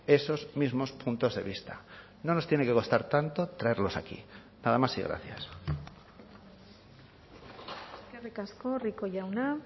esos mismos puntos de vista no nos tiene que costar tanto traerlos aquí nada más y gracias eskerrik asko rico jauna